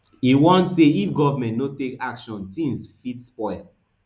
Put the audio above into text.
e warn say if government no take action tins fit spoil